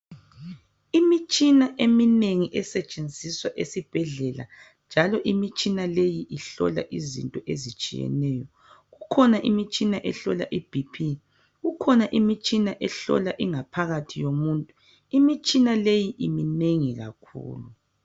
Imitshina eminengi esetshenziswa esibhedlela njalo imitshina leyi ihlola izinto ezitshiyeneyo. Kukhona imitshina ehlola ibp, kukhona imitshina ehlola ingaphakathi yomuntu. Imitshina leyi iminengi kakhulu.